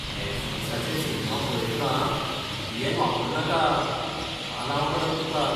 नॅटफ्लिक्साचेर cinema पळयतना VPN वापरनाका. तालांव पडत तुका.